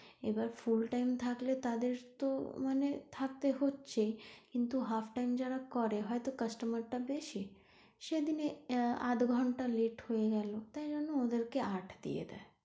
এবার full time থাকলে তাদের তো মানে থাকতে হচ্ছেই কিন্তু half time যারা করে হয়তো customer টা বেশি সেদিনে আধ ঘন্টা late হয়ে গেলো তাইজন্য ওদের কে আট দিয়ে দেয়।